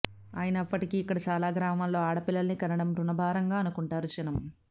అయినప్పటికీ ఇక్కడ చాలా గ్రామాల్లో ఆడపిల్లల్ని కనడం బుణభారంగా అనుకుంటారు జనం